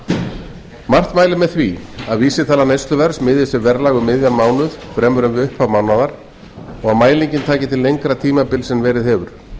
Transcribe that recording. gerir margt mælir með því að vísitala neysluverðs miðist við verðlag um miðjan mánuð fremur en við upphaf mánaðar og mælingin taki til lengri tímabils en verið hefur